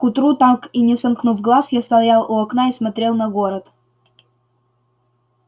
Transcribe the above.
к утру так и не сомкнув глаз я стоял у окна и смотрел на город